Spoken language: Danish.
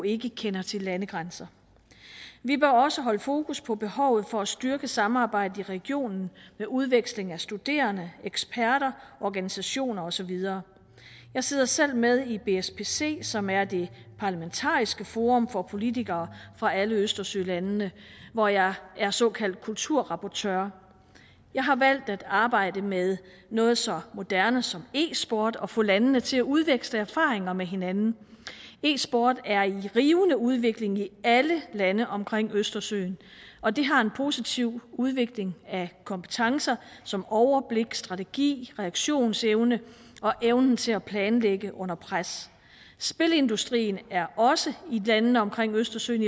ikke kender til landegrænser vi bør også holde fokus på behovet for at styrke samarbejdet i regionen med udveksling af studerende eksperter organisationer og så videre jeg sidder selv med i bspc som er det parlamentariske forum for politikere fra alle østersølandene hvor jeg er såkaldt kulturrapportør jeg har valgt at arbejde med noget så moderne som e sport og at få landene til at udveksle erfaringer med hinanden e sporten er i rivende udvikling i alle lande omkring østersøen og det har en positiv udvikling af kompetencer som overblik strategi reaktionsevne og evnen til at planlægge under pres spilindustrien er også i i landene omkring østersøen